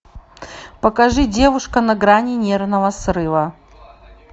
покажи девушка на грани нервного срыва